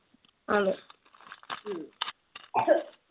അതെ